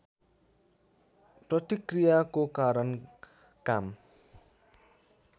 प्रतिक्रियाको कारण काम